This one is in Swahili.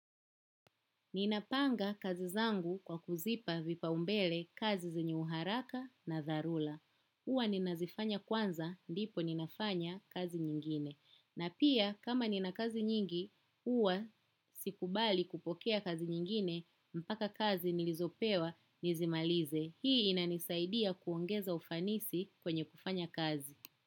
Ninapanga kazi zangu kwa kuzipa vipa umbele kazi zenyeuharaka na dharula. Uwa ninazifanya kwanza, ndipo ninafanya kazi nyingine. Na pia, kama nina kazi nyingi, uwa sikubali kupokea kazi nyingine, mpaka kazi nilizopewa, nizimalize. Hii inanisaidia kuongeza ufanisi kwenye kufanya kazi.